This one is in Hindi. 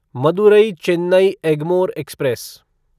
मदुरई चेन्नई एगमोर एक्सप्रेस